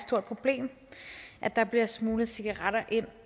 stort problem at der bliver smuglet cigaretter ind